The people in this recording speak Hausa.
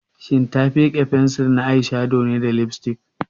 Shin ta fike fensir na eyeshadow da lipstick?